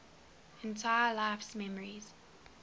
entire life's memories